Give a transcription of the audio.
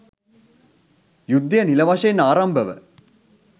යුද්ධය නිළ වශයෙන් ආරම්භව